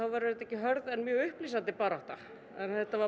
verður þetta ekki hörð en mjög upplýsandi barátta þetta var